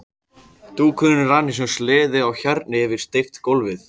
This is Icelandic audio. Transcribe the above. Dúkurinn rann eins og sleði á hjarni yfir steypt gólfið.